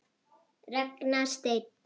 Ragnar Steinn.